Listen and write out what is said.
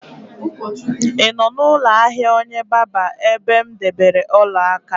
Ị nọ n'ụlọ ahịa onye barber ebe m debere ọla aka?